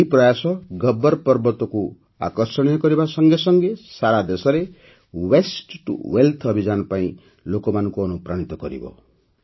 ଏହି ପ୍ରୟାସ ଗବ୍ବର ପର୍ବତକୁ ଆକର୍ଷଣୀୟ କରିବା ସଙ୍ଗେସଙ୍ଗେ ସାରା ଦେଶରେ ୱାସ୍ତେ ଟିଓ ୱେଲ୍ଥ ଅଭିଯାନ ପାଇଁ ଲୋକମାନଙ୍କୁ ଅନୁପ୍ରାଣିତ କରିବ